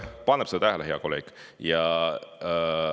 Ta paneb seda tähele, hea kolleeg!